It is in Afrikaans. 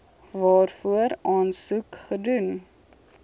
waarvoor aansoek gedoen